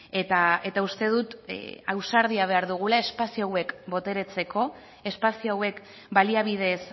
eta uste dut ausardia behar dugula espazio hauek boteretzeko espazio hauek baliabideez